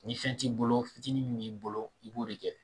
Ni fɛn t'i bolo fitinin min b'i bolo i b'o de kɛ